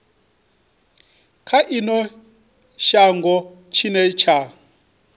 kha ino shango tshine tsha